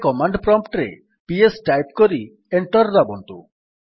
ଏବେ command prompt ରେ PS type କରି ଏଣ୍ଟର୍ ଦାବନ୍ତୁ